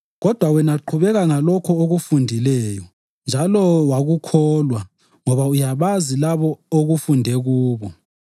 Kodwa wena qhubeka ngalokho okufundileyo njalo wakukholwa ngoba uyabazi labo okufunde kubo,